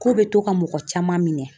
Ko bɛ to ka mɔgɔ caman minɛ